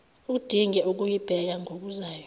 udinge ukuyibheka ngokuzayo